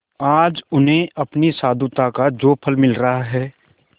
आज उन्हें अपनी साधुता का जो फल मिल रहा है